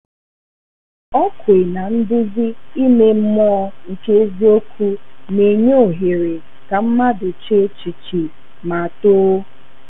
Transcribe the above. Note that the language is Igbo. Ọ kwè na nduzi ime mmụọ nke eziokwu na-enye ohere ka mmadụ che echiche ma too.